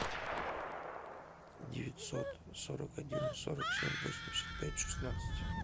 девятьсот сорок один сорок семь восемьдесят пять шестнадцать